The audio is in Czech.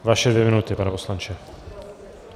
Vaše dvě minuty, pane poslanče.